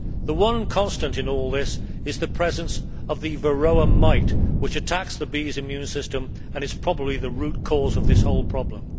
The one constant in all this is the presence of the Varroa mite which attacks the bees' immune system and is probably the root cause of this whole problem.